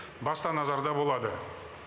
баста назарда болады